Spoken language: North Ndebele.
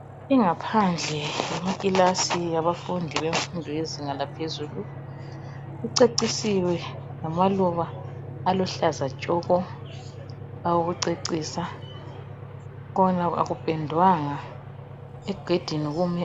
Ingaphandle yekilasi yabafundi bemfundo yezinga laphezulu icecisiwe ngamaluba aluhlaza tshoko. Akupendwanga.